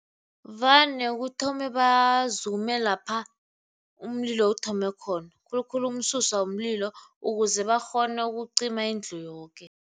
Vane kuthome bazume lapha umlilo uthome khona khulukhulu umsuswa umlilo ukuze bakghone ukucima indlu yoke.